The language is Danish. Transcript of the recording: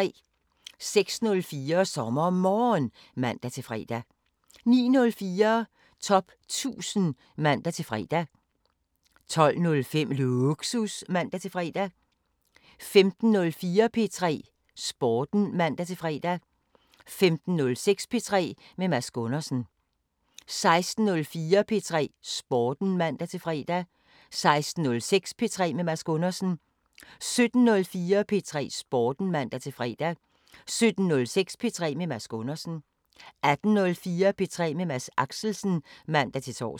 06:04: SommerMorgen (man-fre) 09:04: Top 1000 (man-fre) 12:05: Lågsus (man-fre) 15:04: P3 Sporten (man-fre) 15:06: P3 med Mads Gundersen 16:04: P3 Sporten (man-fre) 16:06: P3 med Mads Gundersen 17:04: P3 Sporten (man-fre) 17:06: P3 med Mads Gundersen 18:04: P3 med Mads Axelsen (man-tor)